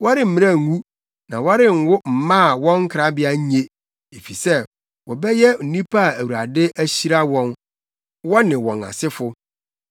Wɔremmrɛ ngu na wɔrenwo mma a wɔn nkrabea nye; efisɛ wɔbɛyɛ nnipa a Awurade ahyira wɔn, wɔne wɔn asefo.